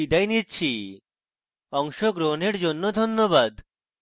অংশগ্রহনের জন্য ধন্যবাদ